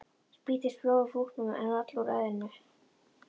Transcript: Spýttist blóð úr búknum en vall úr höfðinu.